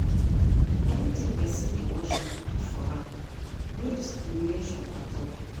Anything pesin dey worship good for am, no discrimination at all.